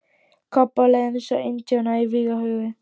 Kobba leið eins og indjána í vígahug.